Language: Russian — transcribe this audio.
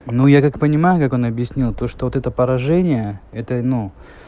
ну я как понимаю как он объяснил то что вот это поражение это ну